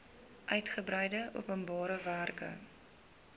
uitgebreide openbare werke